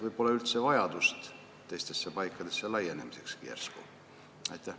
Järsku pole üldse vajadust teistesse paikadesse laieneda.